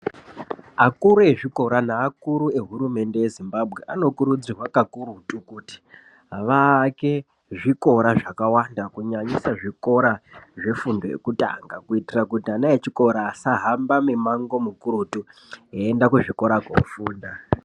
Akuru ezvikora naakuru ehurumende yeZimbabwe anokurudzirwa kakurutu kuti vaake zvikora zvakawanda kunyanyisa zvikora zvefundo yekutanga kuitira kuti ana echikora asahamba mimango mukurutu eienda kuzvikora kofunda.